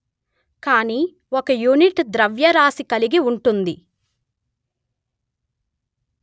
కానీ ఒక యూనిట్ ద్రవ్యరాశి కలిగి ఉంటుంది